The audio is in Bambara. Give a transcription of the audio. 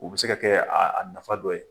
U bi se ka kɛ a a nafa dɔ ye.